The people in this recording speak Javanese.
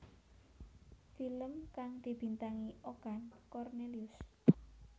Film kang dibintangi Okan Cornelius